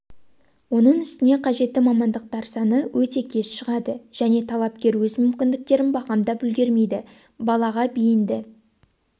оның үстіне қажетті мамандықтар саны өте кеш шығады және талапкер өз мүмкіндіктерін бағамдап үлгермейді балаға бейінді